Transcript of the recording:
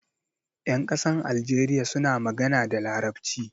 Ƴan ƙasar algeriya suna magana da Larabci.